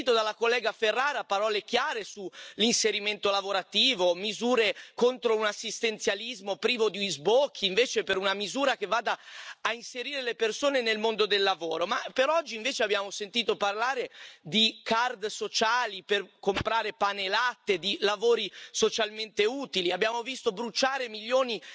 Ho sentito dalla collega Ferrara parole chiare sull'inserimento lavorativo, misure contro un assistenzialismo privo di sbocchi invece per una misura che vada a inserire le persone nel mondo del lavoro, ma per oggi invece abbiamo sentito parlare di card sociali per comprare pane e latte, di lavori socialmente utili, abbiamo visto bruciare milioni